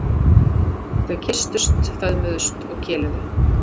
Þau kysstust, föðmuðust og keluðu.